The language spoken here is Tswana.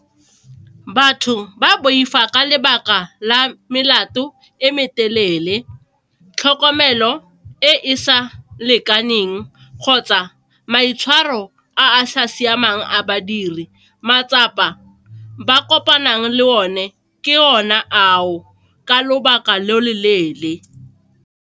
Batho ba boifa ka lebaka la melato e me telele, tlhokomelo e e sa lekaneng kgotsa maitshwaro a sa siamang a badiri, matsapa ba kopanang le o ne ke o ne a o ka lobaka lo lo leele.